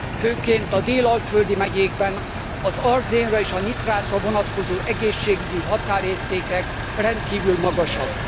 Főként a dél alföldi megyékben az arzénra és a nitrátra vonatkozó egészségügyi határértékek rendkívül magasak.